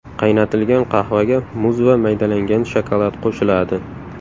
Qaynatilgan qahvaga muz va maydalangan shokolad qo‘shiladi.